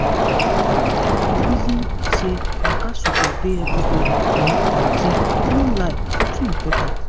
me i reason say waka suppose dey everybody um routine no lie e too important.